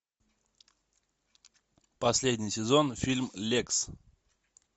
последний сезон фильм лекс